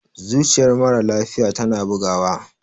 zuciyar mara lafiya tana bugawa